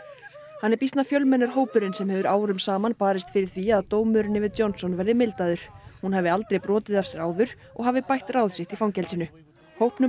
hann er býsna fjölmennur hópurinn sem hefur árum saman barist fyrir því að dómurinn yfir Johnson verði mildaður hún hafi aldrei brotið af sér áður og hafi bætt ráð sitt í fangelsinu hópnum